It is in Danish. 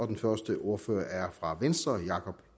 den første ordfører er fra venstre herre jakob